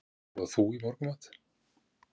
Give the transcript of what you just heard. Hvað borðar þú í morgunmat?